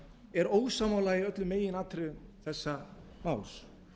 er ósammála í öllum meginatriðum þessa máls